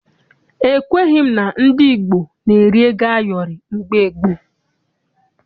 Ekweghị m na ndị Igbo na-eri ego ayọrị mgbe gboo.